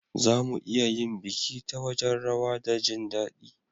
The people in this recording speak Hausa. Za mu iya yin biki ta wajen rawa da jin dadi.